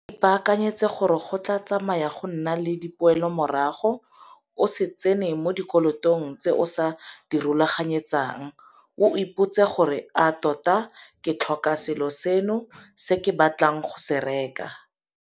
O ipaakanyetse gore go tla tsamaya go nna le dipoelomorago. O se tsene mo dikolotong tse o sa di rulaganyetsang. Ipotsise gore - A tota ke tlhoka selo seno se ke batlang go se reka?